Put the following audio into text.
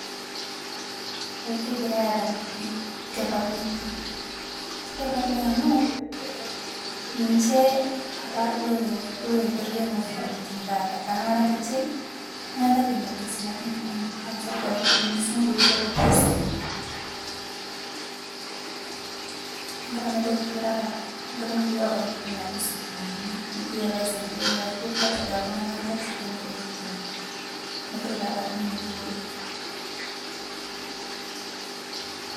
Eeh kegirai adamu piiki keparuni pii keparuni amu ninchee apaa loetua yoo ene wuejii nikitii taata tanamara ninchee ang'ata kiimaritaa sinaitin kumook aasirita lmusungu oibuarr lkasii. Ang'ataa meitokii kiraa taata, ang'ataa mikioo abaki ntokitin najii sukuuli, mikiyoo aisaidia oote keasiritaa ltung'ana lkasii nemereet yoo. Enia ntokii pee aparunuu ninchee oleng.